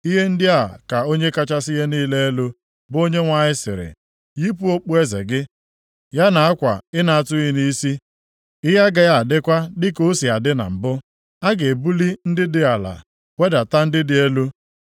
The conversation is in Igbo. ihe ndị a ka Onye kachasị ihe niile elu, bụ Onyenwe anyị sịrị, yipụ okpueze gị, ya na akwa ị na-atụghị nʼisi. Ihe agaghị adịkwa dịka o si adị na mbụ. A ga-ebuli ndị dị ala, wedata ndị dị elu.